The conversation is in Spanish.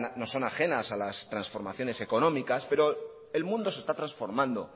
no son ajenas a las transformaciones económicas pero el mundo se está transformando